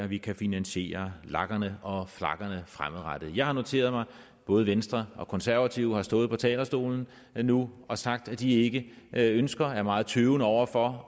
vi kan finansiere lagerne og flagerne fremadrettet jeg har noteret mig at både venstre og konservative har stået på talerstolen nu og sagt at de ikke ønsker og er meget tøvende over for